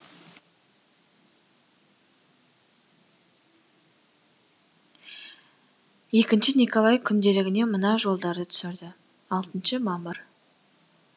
екінші николай күнделігіне мына жолдарды түсірді алтыншы мамыр